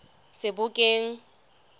sebokeng